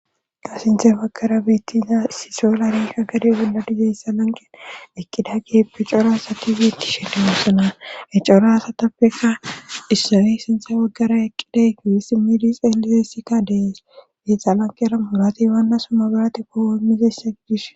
gaasinte waggara biittiza issiso la reeka gade wolladizeyssa lanqera eqqida geeppe cora asati bittishende mosona he cora asatappekka issawey sinta waggara eqqiday giwesi midi xeelisessikka dees giixa lanqera murati waannasummabarate kowommizessa gidis